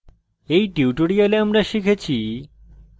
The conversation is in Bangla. in tutorial আমরা শিখেছি